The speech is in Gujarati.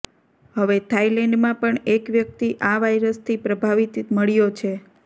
હવે થાઇલેન્ડમાં પણ એક વ્યક્તિ આ વાયરસથી પ્રભાવિત મળ્યો છે